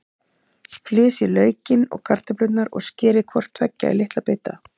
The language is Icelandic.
Flysjið laukinn og kartöflurnar og skerið hvort tveggja í litla bita.